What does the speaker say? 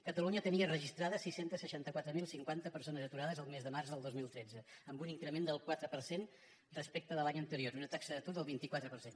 catalunya tenia registrades sis cents i seixanta quatre mil cinquanta persones aturades el mes de març del dos mil tretze amb un increment del quatre per cent respecte de l’any anterior amb una taxa d’atur del vint quatre per cent